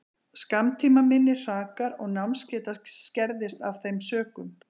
Skammtímaminni hrakar og námsgeta skerðist af þeim sökum.